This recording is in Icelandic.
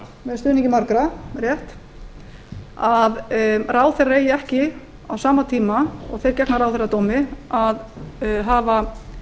með stuðningi margra að ráðherrar eigi ekki á sama tíma og þeir gegna ráðherradómi að hafa